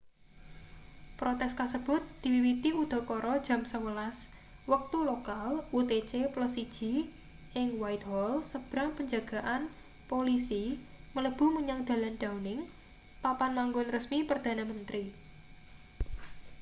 protes kasebut diwiwiti udakara jam 11.00 wektu lokal utc+1 ing whitehall sebrang penjagaan polisi mlebu menyang dalan downing papan manggon resmi perdana menteri